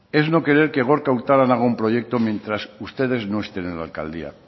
es no querer que gorka urtaran haga un proyecto mientras ustedes no estén en la alcaldía